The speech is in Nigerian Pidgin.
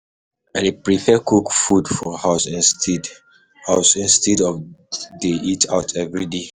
I dey prefer cook food for house instead house instead of dey eat out every day.